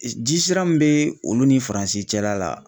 Jisira min bɛ olu ni faranzi cɛla la